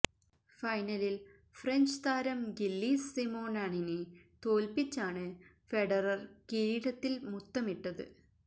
ഫൈനലില് French താരം Gilles സിമോണാണിനെ തോല്പ്പിച്ചാണ് ഫെഡറര് കിരീടത്തില് മുത്തമിട്ടത്